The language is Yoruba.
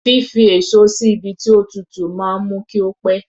Fífi èso sí ibi tí ó tútù máa ń mú kí ó pẹ̀.